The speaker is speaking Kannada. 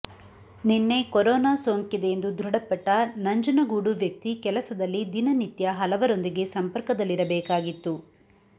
ನಿನ್ನೆ ಕೊರೋನಾ ಸೋಂಕಿದೆಯೆಂದು ದೃಢಪಟ್ಟ ನಂಜನಗೂಡು ವ್ಯಕ್ತಿ ಕೆಲಸದಲ್ಲಿ ದಿನನಿತ್ಯ ಹಲವರೊಂದಿಗೆ ಸಂಪರ್ಕದಲ್ಲಿರಬೇಕಾಗಿತ್ತು